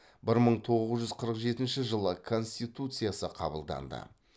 бір мың тоғыз жүз қырық жетінші жылы конституциясы қабылданды